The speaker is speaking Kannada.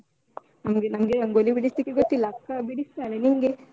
ನಂಗೆ ನಂಗೆ ರಂಗೋಲಿ ಬಿಡಿಸ್ಲಿಕ್ಕೆ ಗೊತ್ತಿಲ್ಲ, ಅಕ್ಕ ಬಿಡಿಸ್ತಾಳೆ, ನಿಂಗೆ?